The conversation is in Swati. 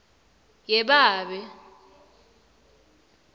yebabe